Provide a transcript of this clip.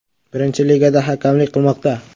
Birinchi ligada hakamlik qilmoqda.